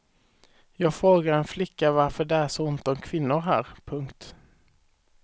Jag frågar en flicka varför det är så ont om kvinnor här. punkt